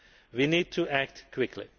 We need to act quickly.